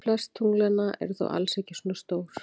Flest tunglanna eru þó alls ekki svona stór.